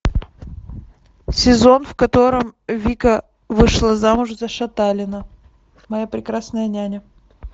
сезон в котором вика вышла замуж за шаталина моя прекрасная няня